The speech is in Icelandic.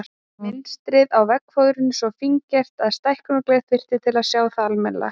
Mynstrið á veggfóðrinu svo fíngert að stækkunargler þyrfti til að sjá það almennilega.